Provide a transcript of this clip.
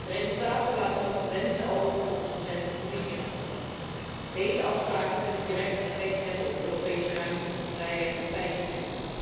De resultaten laten nog te wensen over volgens recente Commissieverslagen. Deze afspraken kunnen direct effect hebben op de Europese ruimte van vrijheid en veiligheid.